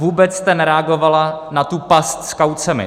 Vůbec jste nereagovala na tu past s kaucemi.